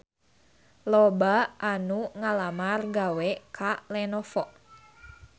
Loba anu ngalamar gawe ka Lenovo